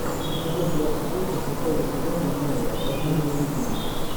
эпизод двадцать восемь шестого сезона майя рождение легенды